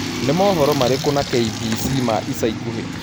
Nĩ mohoro marĩkũ na k.b.c ma ĩca ĩkũhĩ